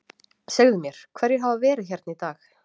Segðu mér, hverjir hafa verið hérna í dag?